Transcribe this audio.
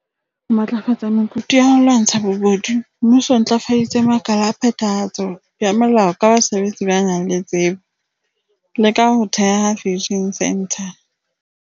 Ho matlafatsa mekutu ya ho lwantsha bobodu, Mmuso o ntlafaditse makala a phetha hatso ya molao ka basebetsi ba nang le tsebo, le ka ho theha Fusion Centre.